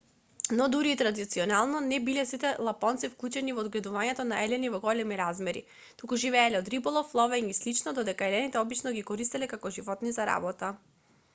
но дури и традиционално не биле сите лапонци вклучени во одгледување на елени во големи размери туку живееле од риболов ловење и слично додека елените обично ги користеле како животни за работа